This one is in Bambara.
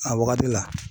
A wagati la